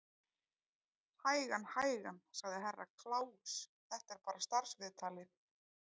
Hægan, hægan, sagði Herra Kláus, þetta er bara starfsviðtalið.